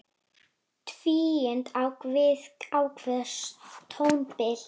Tvíund á við ákveðið tónbil.